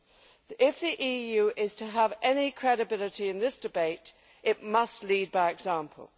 If the EU is to have any credibility in this debate, it must lead by example.